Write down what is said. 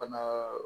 Bana